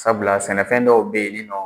Sabula sɛnɛfɛn dɔw bɛ ye ninɔ